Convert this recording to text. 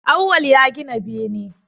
Awwal ya gina bene